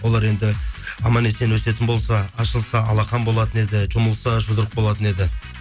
олар енді аман есен өсетін болса ашылса алақан болатын еді жұмылса жұдырық болатын еді